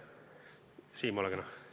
Siim, ole kena!